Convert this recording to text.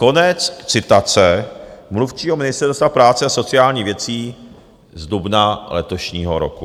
Konec citace mluvčího Ministerstva práce a sociálních věcí z dubna letošního roku.